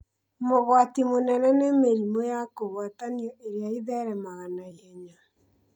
Mũgwati mũnene nĩ mĩrimũ ya kũgwatanio ĩrĩa ĩtheremaga na ihenya